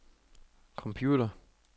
computer